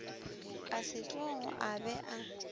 a setlogo a be a